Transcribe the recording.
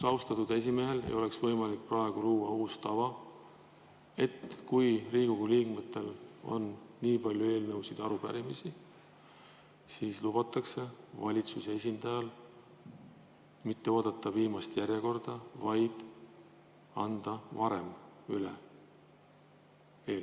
Austatud esimehel oleks võimalik praegu luua uus tava, et kui Riigikogu liikmetel on nii palju eelnõusid ja arupärimisi, siis lubatakse valitsuse esindajal mitte oodata viimast esinemisjärjekorda, vaid anda eelnõud üle varem.